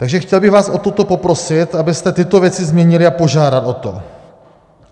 Takže chtěl bych vás o toto poprosit, abyste tyto věci změnili, a požádat o to.